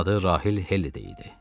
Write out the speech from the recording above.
Onun adı Rahil Helli idi.